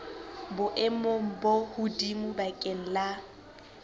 boemong bo hodimo bakeng la